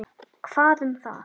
Hvað um það.